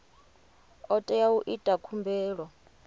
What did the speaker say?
o tea u ita khumbelo